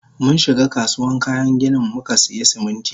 Munshiga kasuwan kayan ginin mukasiya Siminti.